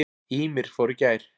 Ýmir fór í gær.